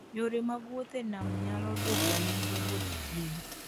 Yore mag wuoth e nam nyalo dwoko nengo wuoth chien.